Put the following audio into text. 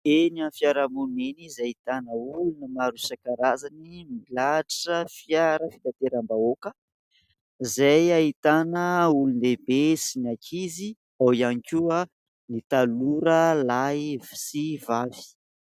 eny amny fiaramon eny izay hitana olona marosakarazany milatra fiara fitateram-bahoaka izay hahitana olony lehibe sy ny akizy ao iany koa ny tanora lahy sy vavy